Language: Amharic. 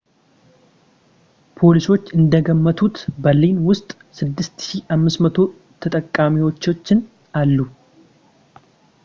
ፖሊሶች እንደገመቱት በርሊን ውስጥ 6,500 ተቃዋሚዎችን አሉ